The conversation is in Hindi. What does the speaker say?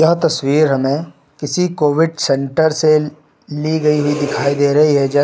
यह तस्वीर हमें किसी कोविड सेंटर से ली गई हुई दिखाई दे रही है जैसे--